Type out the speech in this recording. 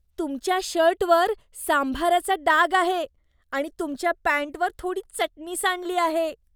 तुमच्या शर्टवर सांभाराचा डाग आहे आणि तुमच्या पॅन्टवर थोडी चटणी सांडली आहे.